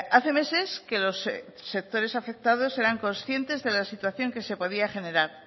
hace meses que los sectores afectados eran conscientes de la situación que se podía generar